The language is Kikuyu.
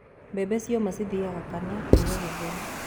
Bembe cioma cithĩago kana kũruga gĩtheri.